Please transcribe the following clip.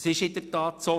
Es ist in der Tat so: